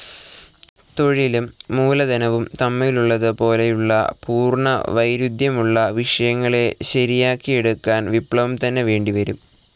തൊഴിലും മൂലധനവും തമ്മിലുള്ളതു പോലെയുള്ള പൂർണ വൈരുദ്ധ്യമുള്ള വിഷയങ്ങളെ ശരിയാക്കിയെടുക്കാൻ വിപ്ലവം തന്നെ വേണ്ടിവരും.